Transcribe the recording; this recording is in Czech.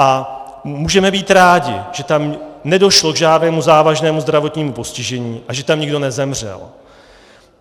A můžeme být rádi, že tam nedošlo k žádnému závažnému zdravotnímu postižení a že tam nikdo nezemřel.